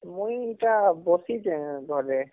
ମୁଇଁ ଇଟା ବସିଚେ ଘରେ